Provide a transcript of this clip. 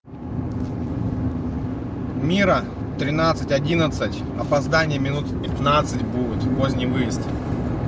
мира тринадцать одиннадцать опоздание минут пятнадцать будет поздний выезд